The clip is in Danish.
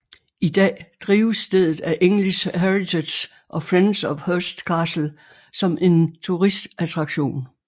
I dag drives stedet af English Heritage og Friends of Hurst Castle som en turistattraktion